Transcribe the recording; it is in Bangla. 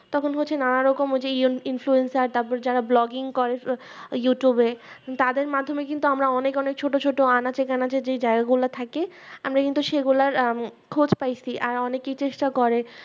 তখন হচ্ছে নানা রকম যে Influenza তারপরে যারা Blogging করে YouTube এ তাদের মাধ্যমে আমরা কিন্তু আমরা অনেক অনেক ছোট ছোট আনাচে কানাচে যেই জায়গা গুলা থাকে আমরা কিন্তু সেই গুলা আহ খোঁজ পাইছি আর অনেকে চেষ্টা করে